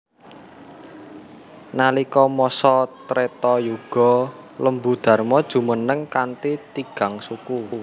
Nalika masa Treta Yuga Lembu Dharma jumeneng kanthi tigang suku